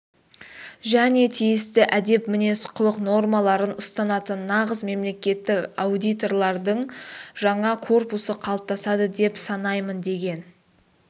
және тиісті әдеп мінез-құлық нормаларын ұстанатын нағыз мемлекеттік аудиторлардың жаңа корпусы қалыптасады деп санаймын деген